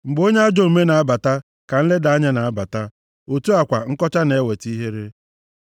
Mgbe onye ajọ omume na-abata, ka nleda anya na-abata, otu a kwa nkọcha na-eweta ihere.